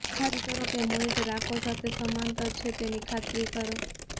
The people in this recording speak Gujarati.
ખાતરી કરો કે મોનિટર આંખો સાથે સમાંતર છે તેની ખાતરી કરો